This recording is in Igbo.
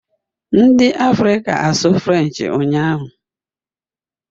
Ndị Afrịka asụ French ụnyahụ?